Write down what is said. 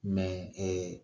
ee